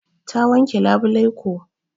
Ta wanke labulai ko.